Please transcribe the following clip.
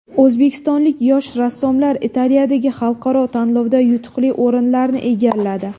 O‘zbekistonlik yosh rassomlar Italiyadagi xalqaro tanlovda yutuqli o‘rinlarni egalladi.